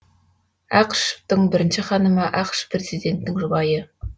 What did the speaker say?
ақышевтың бірінші ханымы ақш президентінің жұбайы